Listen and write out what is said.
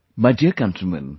My dear countrymen